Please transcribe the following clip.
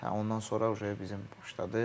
Ondan sonra bizim başladı.